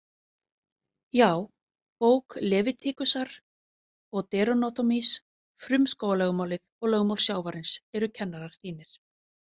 Já, bók Levitikusar og Deuteronomýs, frumskógarlögmálið og lögmál sjávarins eru kennarar þínir.